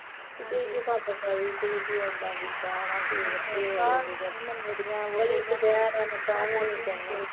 ਕੀ ਤੁਸੀਂ ਕੀ ਖੱਪ ਪਾਈ, ਤੁਸੀਂ ਕੀ ਇੱਦਾਂ ਕੀਤਾ ਹੈਨਾ ਕੀ ਗਲੀ ਚ ਬਹਿਣੇ ਨੂੰ ਤਾਂ ਵੀ ਨੀ ਕਹਿਣਾ